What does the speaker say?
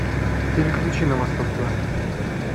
переключи на восток тв